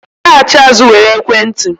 laghachi azụ were ekwentị